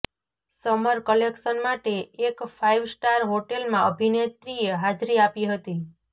summer collection માટે એક five star હોટેલમાં અભિનેત્રીએ હાજરી આપી હતી